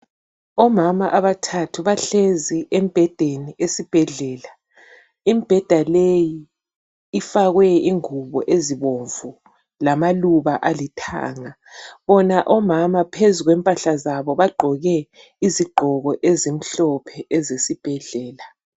Omama abathathu bahlezi embhedeni esibhedlela. Imibheda leyi ifakwe ingubo ezibomvu lamaluba alithanga bona omama phezu kwempahla zabo bagqoke izigqoko ezimhlophe ezesibhedlela.